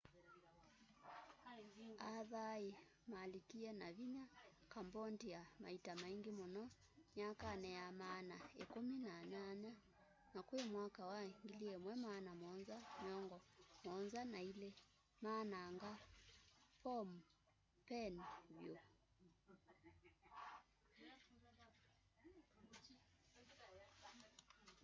a thai malikie na vinya cambodia maita maingi muno myakani ya maana ikumi na nyanya na kwi mwaka wa 1772 maananga phnom phen vyu